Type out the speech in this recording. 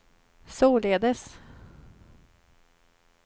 således